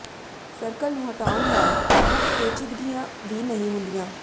circle ਨੂੰ ਹਟਾਉਣ ਨਾਲ ਮੁੱਖ ਪੇਚੀਦਗੀਆਂ ਵੀ ਨਹੀਂ ਹੁੰਦੀਆਂ